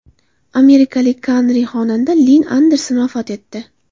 Amerikalik kantri-xonanda Linn Anderson vafot etdi.